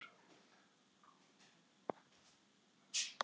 Haglél á stærð við golfkúlur